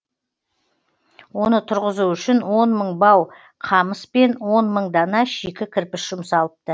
оны тұрғызу үшін он мың бау қамыс пен он мың дана шикі кірпіш жұмсалыпты